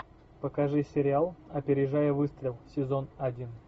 покажи сериал опережая выстрел сезон один